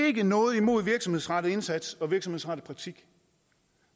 ikke noget imod virksomhedsrettet indsats og virksomhedsrettet praktik